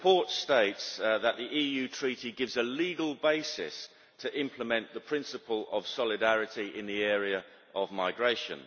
The report states that the EU Treaty gives a legal basis to implement the principle of solidarity in the area of migration.